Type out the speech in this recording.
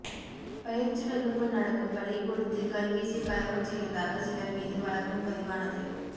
பயிற்சி வகுப்பு நடக்கும் பள்ளிக்கூடத்தில் கல்வீசி கலவரம் செய்ததாக சிலர் மீது வழக்கும் பதிவானது